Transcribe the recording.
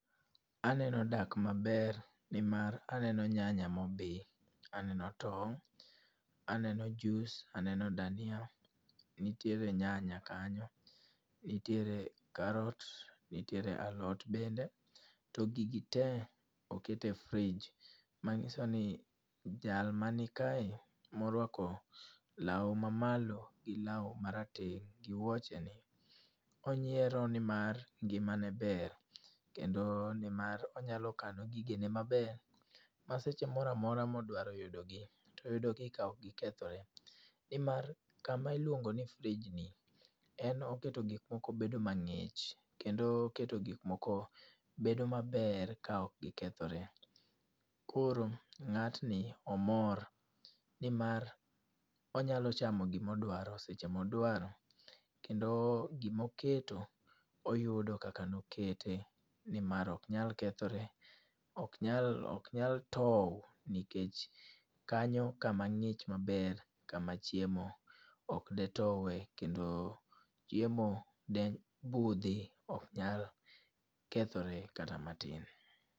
Aneno dak maber nimar aneno nyanya mobi, aneno tong', aneno juis, aneno dania, nitiere nyanya kanyo, nitiere karot, nitiere alot bende to gigi te okete frij mang'iso ni jal manikae morwako law mamalo gi law marateng' gi wuocheni, onyiero nimar ngimane ber kendo nimar onyalo kano gigene maber ma seche moro amora modwaro yudogi toyudogi ka okgikethore nimar kama iluongo ni frijni en oketo gikmoko bedo mang'ich kendo oketo gikmoko bedo maber ka ok gikethore. Koro ng'atni omor nimar onyalo chamo gimodwaro seche modwaro kendo gimoketo oyudo kaka nokete nimar oknyal kethore, oknyal tow nikech kanyo kama ng'ich maber kama chiemo ok de towe kendo chiemo de budhi oknyal kethore kata matin.